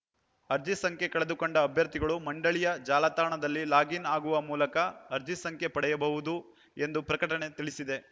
ಅರ್ಜಿ ಸಂಖ್ಯೆ ಕಳೆದುಕೊಂಡ ಅಭ್ಯರ್ಥಿಗಳು ಮಂಡಳಿಯ ಜಾಲತಾಣ ದಲ್ಲಿ ಲಾಗಿನ್‌ ಆಗುವ ಮೂಲಕ ಅರ್ಜಿ ಸಂಖ್ಯೆ ಪಡೆಯಬಹುದು ಎಂದು ಪ್ರಕಟಣೆ ತಿಳಿಸಿದೆ